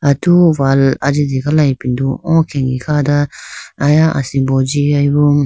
Atu wall ajitegala ipindo o khege kha do aya asimbo jigayibo.